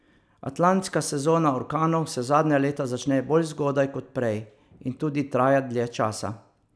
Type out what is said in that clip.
Atlantska sezona orkanov se zadnja leta začne bolj zgodaj kot prej in tudi traja dlje časa.